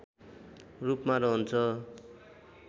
रूपमा रहन्छ